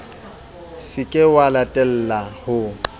se ke wa latella ho